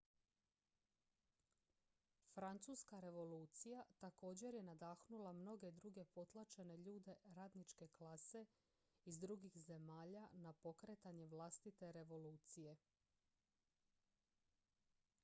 francuska revolucija također je nadahnula mnoge druge potlačene ljude radničke klase iz drugih zemalja na pokretanje vlastite revolucije